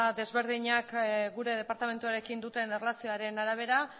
ezberdinek gure departamentuarekin duten erlazioaren arabera